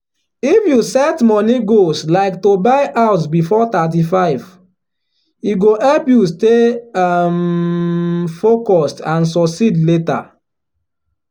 if you set money goals like to buy house before thirty five e go help you stay um focused and succeed later.